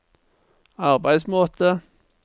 arbeidsmåte